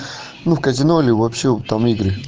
казино ли вообще там